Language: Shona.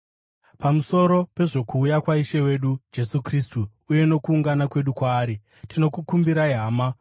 Pamusoro pezvokuuya kwaIshe wedu Jesu Kristu uye nokuungana kwedu kwaari, tinokukumbirai, hama,